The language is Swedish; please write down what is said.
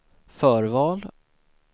förval